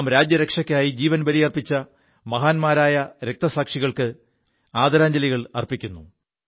രാജ്യരക്ഷയ്ക്കായി ജീവൻ ബലി കഴിച്ച മഹാന്മാരായ രക്തസാക്ഷികൾക്ക് അ് 11 മണിക്ക് നാം ആദരാഞ്ജലികൾ അർപ്പിക്കുു